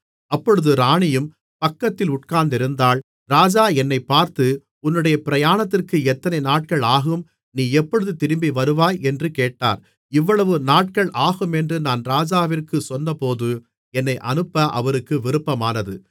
அப்பொழுது ராணியும் பக்கத்தில் உட்கார்ந்திருந்தாள் ராஜா என்னைப் பார்த்து உன்னுடைய பிரயாணத்திற்கு எத்தனை நாட்கள் ஆகும் நீ எப்பொழுது திரும்பி வருவாய் என்று கேட்டார் இவ்வளவுநாட்கள் ஆகுமென்று நான் ராஜாவிற்குச் சொன்னபோது என்னை அனுப்ப அவருக்கு விருப்பமானது